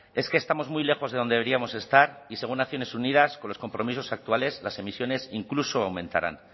es que estamos muy lejos de donde deberíamos estar y según naciones unidas con los compromisos actuales las emisiones incluso aumentarán